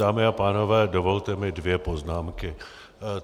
Dámy a pánové, dovolte mi dvě poznámky.